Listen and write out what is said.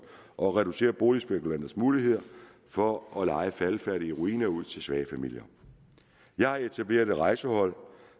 og reducere boligspekulanters muligheder for at leje faldefærdige ruiner ud til svage familier jeg har etableret et rejsehold